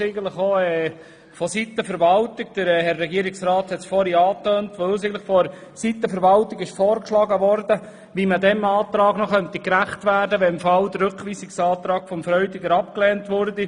Diese wurde uns, wie von Regierungsrat Käser erwähnt, vonseiten der Verwaltung dahingehend vorgeschlagen, wie man diesem Antrag noch gerecht werden könnte, sollte der Rückweisungsantrag Freudiger abgelehnt werden.